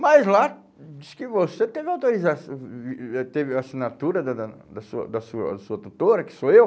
Mas lá, disse que você teve autoriza eh teve a assinatura da da da sua da sua sua tutora, que sou eu.